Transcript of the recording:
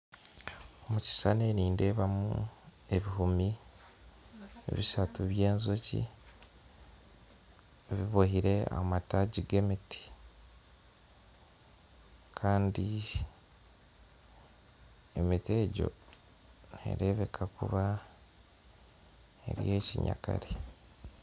Omukishishani nindeebamu ebihumi bishatu by'enjoki bibohire ahamataagi g'emiti kandi emiti egyo nerebeka kuba eri ey'ekinyakare.